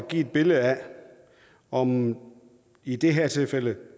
give et billede af om i det her tilfælde